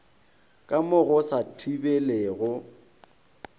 ka mo go sa thibelego